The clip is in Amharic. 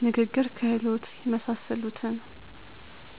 የንግግር ክህሎት የመሳሰሉትን